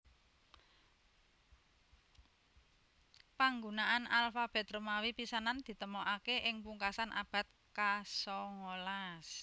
Panggunaan alfabet Romawi pisanan ditemokaké ing pungkasan abad kasongolas